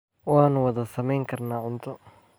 Waanu wada samayn karnaa cunto.